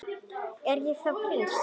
Er ég þá prins?